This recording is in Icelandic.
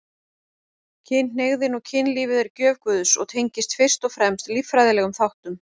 Kynhneigðin og kynlífið er gjöf Guðs og tengist fyrst og fremst líffræðilegum þáttum.